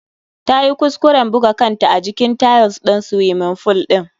Ta yi kuskuren buga kanta a jikin tiles ɗin swiming fool ɗin.